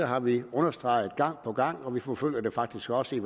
har vi understreget gang på gang og vi forfølger det faktisk også i